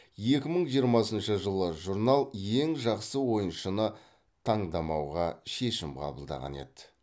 екі мың жиырмасыншы жылы журнал ең жақсы ойыншыны таңдамауға шешім қабылдаған еді